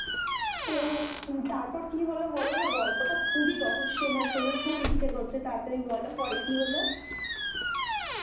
তো তারপর কি হলো বলোনা গল্পটা খুবই রহস্যময় শোনার খুব ইচ্ছা করছে বলোনা তারপরে কি হলো